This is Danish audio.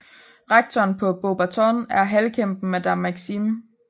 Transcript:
Rektoren på Beauxbatons er halvkæmpen Madame Maxime